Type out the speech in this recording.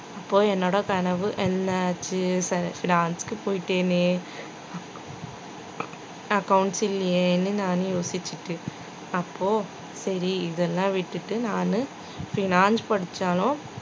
அப்போ என்னோட கனவு என்னாச்சு fi~ finance க்கு போயிட்டேனே accounts இல்லையேன்னு நானு யோசிச்சுட்டுருக்கு அப்போ சரி இதெல்லாம் விட்டுட்டு நானு finance படிச்சாலும்